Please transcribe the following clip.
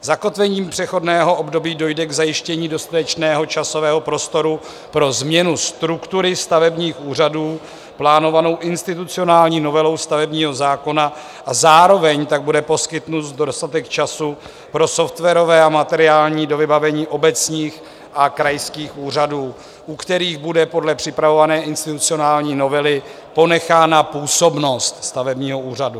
Zakotvením přechodného období dojde k zajištění dostatečného časového prostoru pro změnu struktury stavebních úřadů plánovanou institucionální novelou stavebního zákona a zároveň tak bude poskytnut dostatek času pro softwarové a materiální dovybavení obecních a krajských úřadů, u kterých bude podle připravované institucionální novely ponechána působnost stavebního úřadu.